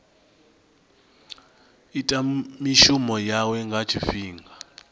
ita mishumo yawe nga tshifhinga